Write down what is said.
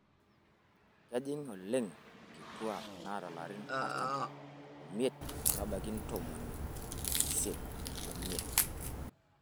Kejing' oleng' nkituak naata larin artam omiet metabaiki ntomoni isiet omiet.